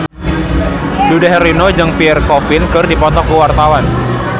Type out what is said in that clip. Dude Herlino jeung Pierre Coffin keur dipoto ku wartawan